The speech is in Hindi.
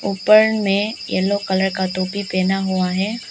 ऊपर में येलो कलर का टोपी पहना हुआ है।